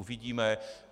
Uvidíme.